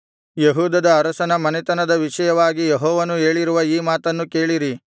ಯೆಹೂದದ ಅರಸನ ಮನೆತನದ ವಿಷಯವಾಗಿ ಯೆಹೋವನು ಹೇಳಿರುವ ಈ ಮಾತನ್ನು ಕೇಳಿರಿ